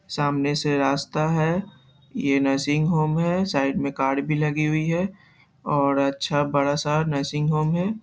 सामने से रास्ता है ये नर्सिंग होम है साइड में कार भी लगी हुई है औरअच्छा बड़ा-सा नर्सिंग होम है।